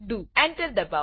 Enter enter દબાવો